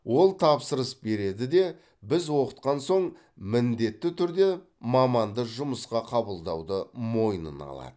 ол тапсырыс береді де біз оқытқан соң міндетті түрде маманды жұмысқа қабылдауды мойнына алады